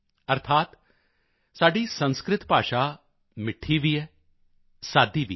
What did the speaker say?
ਅਰਥਾਤ ਸਾਡੀ ਸੰਸਕ੍ਰਿਤ ਭਾਸ਼ਾ ਮਿੱਠੀ ਵੀ ਹੈ ਸਾਦੀ ਵੀ ਹੈ